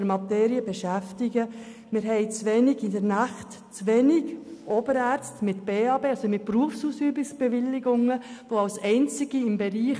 Wir haben das Problem, dass in den Nächten zu wenige Oberärzte mit Berufsausübungsbewilligung verfügbar sind.